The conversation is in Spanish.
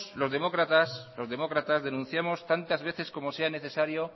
los demócratas denunciamos tantas veces como sea necesario